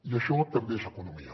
i això també és economia